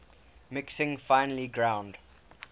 mixing finely ground